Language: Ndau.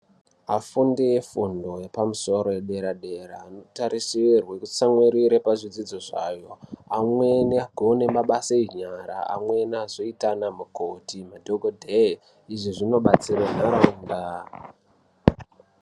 Afundi efundo yepamusoro yedera-dera anotarisirwe kutsamwirire pazvidzidzo zvayo, Amweni agone mabasa enyara, amweni azoite anamukoti madhokodheye. Izvi zvinobatsire nharaunda.